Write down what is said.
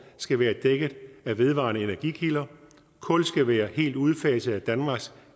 skal være dækket af vedvarende energikilder kul skal være helt udfaset af danmarks